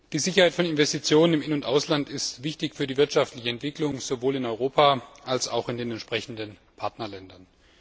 Die Sicherheit von Investitionen im In und Ausland ist wichtig für die wirtschaftliche Entwicklung sowohl in Europa als auch in den entsprechenden Partnerländern.